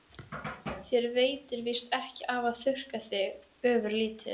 Þér veitir víst ekki af að þurrka þig ofurlítið.